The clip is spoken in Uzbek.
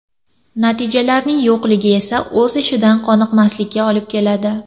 Natijalarning yo‘qligi esa o‘z ishidan qoniqmaslikka olib keladi.